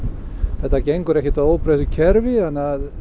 þetta gengur ekki í óbreyttu kerfi þannig að